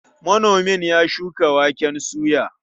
Manomin ya ya shuka waken soya.